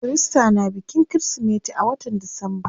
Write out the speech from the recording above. Kirista na bikin kirismeti a watan disamba.